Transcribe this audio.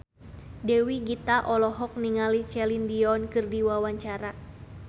Dewi Gita olohok ningali Celine Dion keur diwawancara